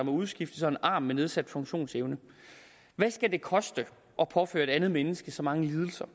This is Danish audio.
udskiftes og en arm med nedsat funktionsevne hvad skal det koste at påføre et andet menneske så mange lidelser